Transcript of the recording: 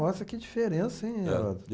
Nossa, que diferença, hein? Era.